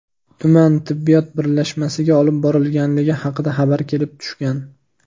tuman tibbiyot birlashmasiga olib borilganligi haqida xabar kelib tushgan.